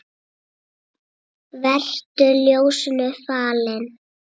Vertu ljósinu falinn.